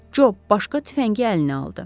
Co başqa tüfəngi əlinə aldı.